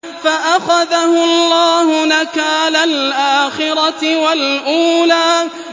فَأَخَذَهُ اللَّهُ نَكَالَ الْآخِرَةِ وَالْأُولَىٰ